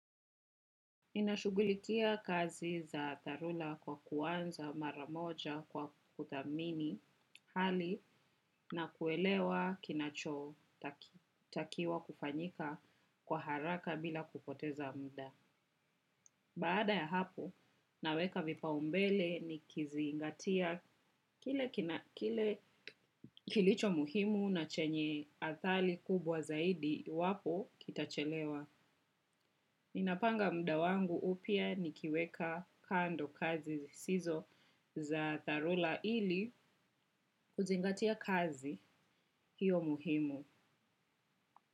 Ninashugulikia kazi za dharura kwa kuanza mara moja kwa kuthamini hali na kuelewa kinachotakiwa kufanyika kwa haraka bila kupoteza muda. Baada ya hapo, naweka vipaumbele nikizingatia kile kilicho muhimu na chenye athari kubwa zaidi iwapo kitachelewa. Ninapanga muda wangu upya nikiweka kando kazi zisizo za dharula ili kuzingatia kazi hiyo muhimu.